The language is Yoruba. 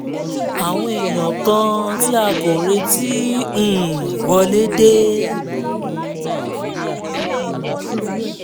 àwọn èèyàn kan tí a kò retí um wọlé dé